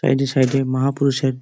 side -এ side -এ মাহা পুরুষের--